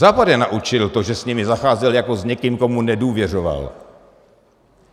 Západ je naučil to, že s nimi zacházel jako s někým, komu nedůvěřoval.